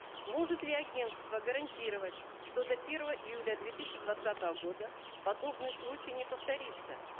может ли агентство гарантировать что до первого июля две тысячи двадцатого года подобный случай не повторится